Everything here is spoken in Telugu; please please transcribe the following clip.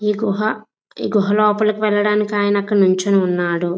ఈ గ్రుహ లోపలికి వెళ్లడానికిఒక ఆయన అక్కడ నీచోనిఉన్నాడు.